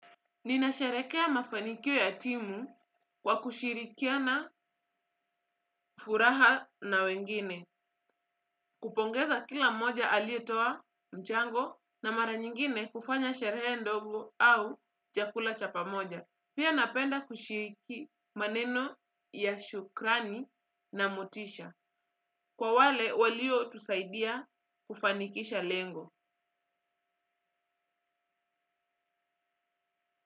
Ninasheherekea mafanikio ya timu, kwa kushirikiana furaha na wengine kupongeza kila mmoja aliyetoa mchango, na mara nyingine kufanya sherehe ndogo au chakula cha pamoja pia napenda kushiriki maneno ya shukrani na motisha. Kwa wale waliotusaidia kufanikisha lengo.